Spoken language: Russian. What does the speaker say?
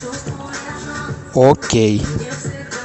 окей